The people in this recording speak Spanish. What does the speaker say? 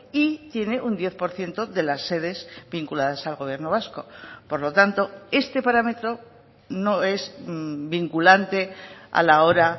y tiene un diez por ciento de las sedes vinculadas al gobierno vasco por lo tanto este parámetro no es vinculante a la hora